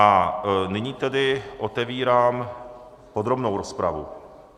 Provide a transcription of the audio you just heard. A nyní tedy otevírám podrobnou rozpravu.